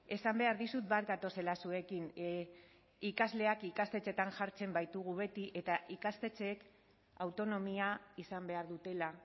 esan behar dizut bat gatozela zuekin ikasleak ikastetxeetan jartzen baitugu beti eta ikastetxeek autonomia izan behar dutela